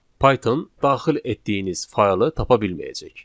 Python daxil etdiyiniz faylı tapa bilməyəcək.